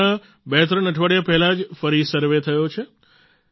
હમણાં બેત્રણ અઠવાડિયા પહેલાં જ ફરી સર્વે થયો છે